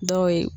Dɔw ye